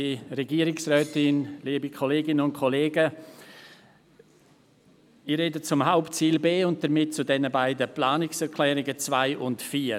Ich spreche zum Hauptziel B und damit zu den beiden Planungserklärungen 2 und 4.